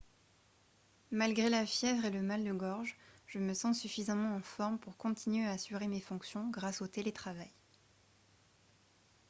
« malgré la fièvre et le mal de gorge je me sens suffisamment en forme pour continuer à assurer mes fonctions grâce au télétravail